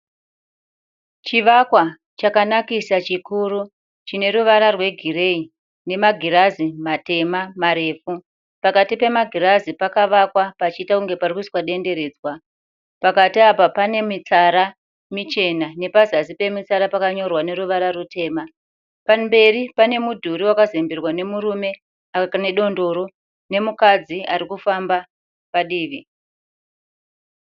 Chivakwa chakanakisa chikuru chine ruvara rwegireyi nemagirazi matema marefu. Pakati pemagirazi pakavakwa pachiita kunge pari kuiswa denderedzwa. Pakati apa pane mitsara michena nepazasi pemitsara pakanyorwa neruvara rutema. Pamberi pane mudhuri wakazemberwa nemurume ane dondoro nemukadzi ari kufamba padivi.